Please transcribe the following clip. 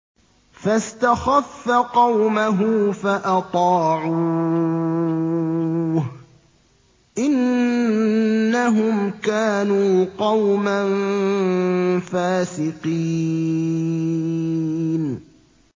فَاسْتَخَفَّ قَوْمَهُ فَأَطَاعُوهُ ۚ إِنَّهُمْ كَانُوا قَوْمًا فَاسِقِينَ